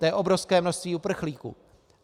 To je obrovské množství uprchlíků.